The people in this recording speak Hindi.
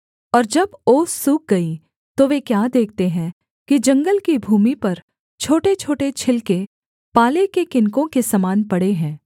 और जब ओस सूख गई तो वे क्या देखते हैं कि जंगल की भूमि पर छोटेछोटे छिलके पाले के किनकों के समान पड़े हैं